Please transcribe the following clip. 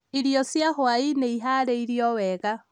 irio cia hwa-inĩ ĩharĩirio wega